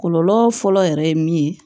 Kɔlɔlɔ fɔlɔ yɛrɛ ye min ye